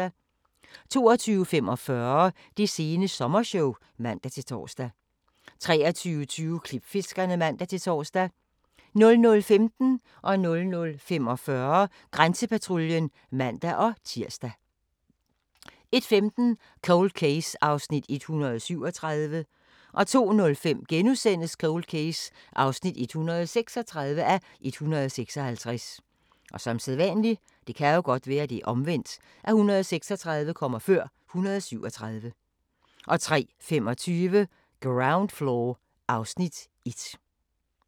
22:45: Det sene sommershow (man-tor) 23:20: Klipfiskerne (man-tor) 00:15: Grænsepatruljen (man-tir) 00:45: Grænsepatruljen (man-tir) 01:15: Cold Case (137:156) 02:05: Cold Case (136:156)* 03:25: Ground Floor (Afs. 1)